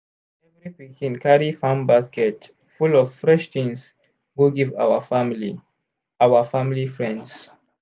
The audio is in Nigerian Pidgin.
every pikin carry farm basket full of fresh things go give our family our family friends.